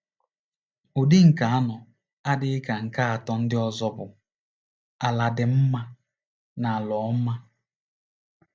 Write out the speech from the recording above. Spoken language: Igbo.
Ụdị nke anọ, na-adịghị ka nke atọ ndị ọzọ, bụ “ala dị mma” na “ala ọma.”